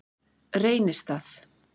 Reynistað